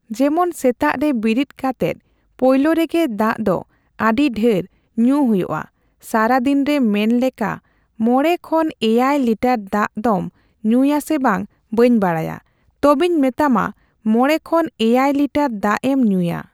ᱡᱮᱢᱚᱱ ᱥᱮᱛᱟᱜ ᱨᱮ ᱵᱤᱨᱤᱫ ᱠᱟᱛᱮᱱ ᱯᱳᱭᱞᱳ ᱨᱮᱜᱮ ᱫᱟᱜ ᱫᱚ ᱟᱰᱤ ᱰᱷᱮᱨ ᱡᱚᱢ ᱦᱩᱭᱩᱜ ᱟ ᱥᱟᱨᱟᱫᱤᱱᱨᱮ ᱢᱮᱱ ᱞᱮᱠᱟ ᱢᱚᱲᱮ ᱠᱷᱚᱱ ᱮᱭᱟᱭ ᱞᱤᱴᱟᱨ ᱫᱟᱜ ᱫᱚᱢ ᱧᱩᱭᱟᱥᱮ ᱵᱟᱝ ᱵᱟᱹᱧ ᱵᱟᱲᱟᱭᱟ ᱛᱚᱵᱮᱧ ᱢᱮᱛᱟᱢᱟ ᱢᱚᱲᱮ ᱠᱷᱚᱱ ᱮᱭᱟᱭ ᱞᱤᱴᱟᱨ ᱫᱟᱜᱮᱢ ᱧᱩᱭᱟ ᱾